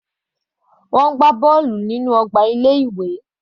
Wọ́n ń gbá bọ́ọ̀lù lórí ọgbà ilé ìwé.